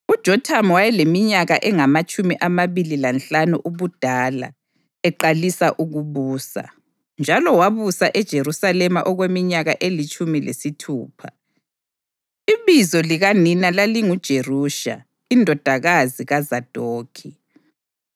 UJothamu wayeleminyaka engamatshumi amabili lanhlanu ubudala eqalisa ukubusa, njalo wabusa eJerusalema okweminyaka elitshumi lesithupha. Ibizo likanina lalinguJerusha indodakazi kaZadokhi.